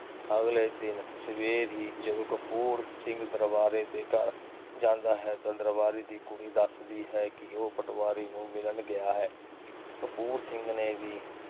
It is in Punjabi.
ਅਗਲੇ ਦਿਨ ਸਵੇਰੇ ਹੀ ਜਦੋ ਕਪੂਰ ਸਿੰਘ ਦਰਬਾਰੇ ਦੇ ਘਰ ਜਾਂਦਾ ਹੈ ਤਾ ਦਰਬਾਰੇ ਦੀ ਕੁੜੀ ਦੱਸਦੀ ਹੈ ਕੇ ਉਹ ਪਟਵਾਰੀ ਨੂੰ ਮਿਲਣ ਗਿਆ ਹੈ। ਕਪੂਰ ਸਿੰਘ ਨੇ ਵੀ